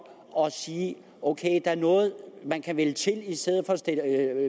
og sige ok der er noget man kan vælge til i stedet for at